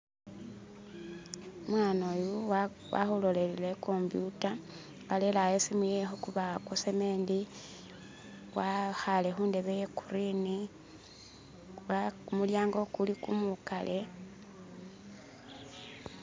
Umwaana uyu walolelele i'computer walelela awo isimu khukubawo kwacement, wekhaale khundebe ya green kumulyaango kuli kumukale